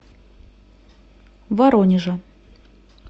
воронежа